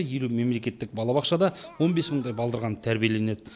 елу мемлекеттік балабақшада он бес мыңдай балдырған тәрбиеленеді